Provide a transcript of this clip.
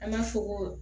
An b'a fɔ ko